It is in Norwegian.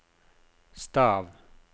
stav